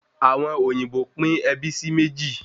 Àwọn òyìnbó pín ẹbí sí méjì